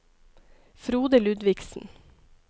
Frode Ludvigsen